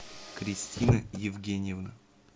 кристина евгеньевна